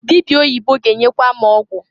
Dịbịa oyibo ga-enyekwa m ọgwụ.